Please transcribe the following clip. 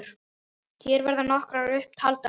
Hér verða nokkrar upp taldar